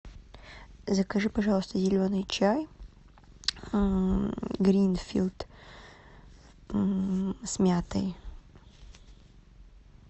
закажи пожалуйста зеленый чай гринфилд с мятой